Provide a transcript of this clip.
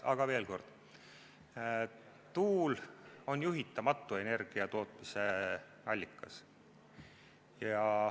Aga veel kord: tuul on juhitamatu energiatootmisallikas.